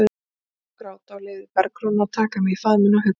Ég fór að hágráta og leyfði Bergrúnu að taka mig í faðminn og hugga mig.